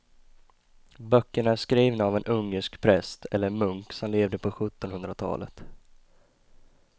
Böckerna är skrivna av en ungersk präst eller munk som levde på sjuttonhundratalet.